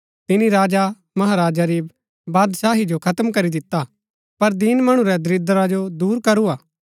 तिनी राजामहराजा री बादशाही जो खत्म करी दिता पर दीन मणु रै दरीद्रा जो दूर करू हा